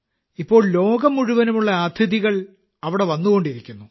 ഇപ്പോൾ ലോകം മുഴുവനുമുള്ള അതിഥികൾ അവിടെവന്നുകൊണ്ടിരിക്കുന്നു